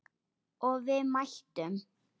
Og við mættum.